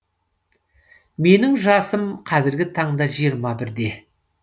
менің жасым қазіргі таңда жиырма бірде